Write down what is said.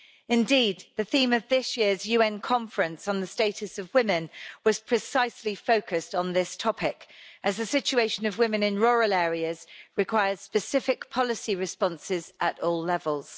Indeed, the theme of this year's UN Conference on the Status of Women was precisely focused on this topic, as the situation of women in rural areas requires specific policy responses at all levels.